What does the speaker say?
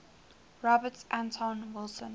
robert anton wilson